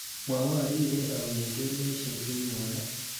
Mwawon rirei au kengeleshek chenyone